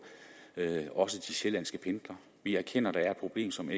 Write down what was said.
også de sjællandske pendlere vi erkender der er et problem som